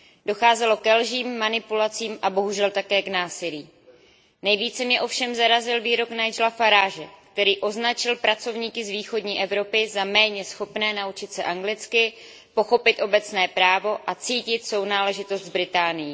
Docházelo ke lžím, manipulacím a bohužel také k násilí. Nejvíce mě ovšem zarazil výrok Nigela Farage, který označil pracovníky z východní Evropy za méně schopné naučit se anglicky, pochopit obecné právo a cítit sounáležitost s Británií.